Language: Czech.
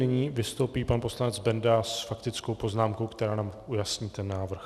Nyní vystoupí pan poslanec Benda s faktickou poznámkou, která nám ujasní ten návrh.